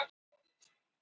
Héldu skilnaðinum leyndum